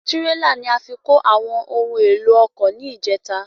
Tírélà ni a fi kó àwọn ohun èlò ọkọ ni ìjèta